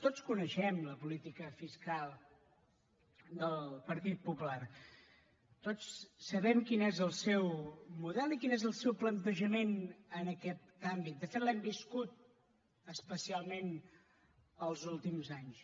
tots coneixem la política fiscal del partit popular tots sabem quin és el seu model i quin és el seu plantejament en aquest àmbit de fet l’hem viscut especialment els últims anys